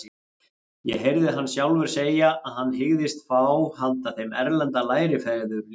Ég heyrði hann sjálfur segja að hann hygðist fá handa þeim erlenda lærifeður líka.